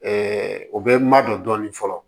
o bɛ madon dɔɔnin fɔlɔ